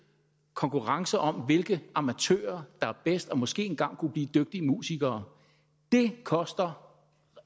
konkurrence om hvilke amatører der er bedst og måske engang kunne blive dygtige musikere det koster